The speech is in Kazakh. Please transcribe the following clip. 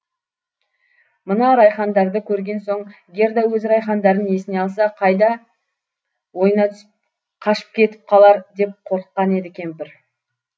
мына райхандарды көрген соң герда өз райхандарын есіне алса қай да ойына түсіп қашып кетіп қалар деп қорыққан еді кемпір